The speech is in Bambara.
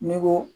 Ni ko